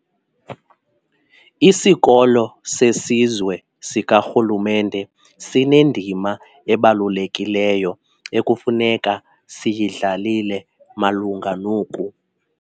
Isikolo seSizwe sikaRhulumente sinendima ebalulekileyo ekufuneka siyidlalile malunga noku.